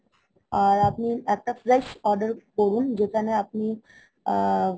আর আপনি একটা fresh order করুন যেখানে আপনি আ~